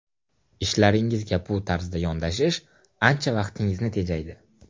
Ishlaringizga bu tarzda yondashish ancha vaqtingizni tejaydi.